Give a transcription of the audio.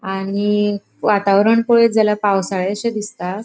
आणि वातावरण पळेत जाल्यार पावसाळेशे दिसता.